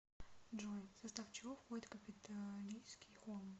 джой в состав чего входит капитолийский холм